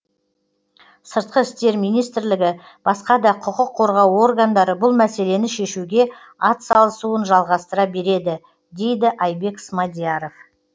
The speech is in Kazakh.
сыртқы істер министрлігі басқа да құқық қорғау органдары бұл мәселені шешуге атсалысуын жалғастыра береді дейді айбек смадияров